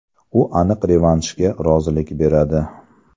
U aniq revanshga rozilik beradi.